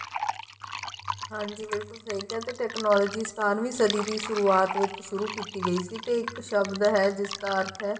ਹਾਂਜੀ ਬਿਲਕੁਲ ਸਹੀ ਕਿਹਾ ਤੇ technology ਬਾਰਵੀਂ ਸਦੀਂ ਦੀ ਸੁਰੂਆਤ ਵਿੱਚ ਸੁਰੂ ਕੀਤੀ ਗਈ ਸੀ ਤੇ ਇੱਕ ਸ਼ਬਦ ਹੈ ਜਿਸ ਦਾ ਅਰਥ ਹੈ